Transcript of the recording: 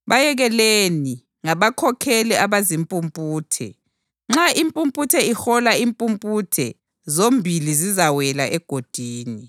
Bayekeleni; ngabakhokheli abazimpumputhe. Nxa impumputhe ihola impumputhe zombili zizawela egodini.”